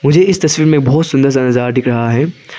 मुझे इस तस्वीर में बोहोत सुंदर सा नजारा दिख रहा है।